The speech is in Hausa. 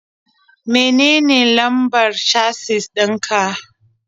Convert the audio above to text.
Menene lambar casis ɗin ka?